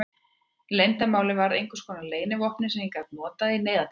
Leyndarmálið varð að einskonar leynivopni sem ég gat notað í neyðartilfellum.